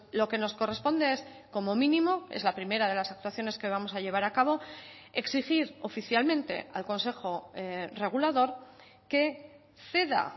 lo que nos corresponde es como mínimo es la primera de las actuaciones que vamos a llevar a cabo exigir oficialmente al consejo regulador que ceda